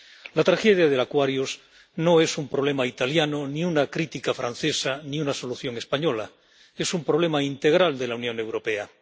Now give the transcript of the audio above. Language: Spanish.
La tragedia del Aquarius no es un problema italiano ni una crítica francesa ni una solución española es un problema integral de la Unión Europea.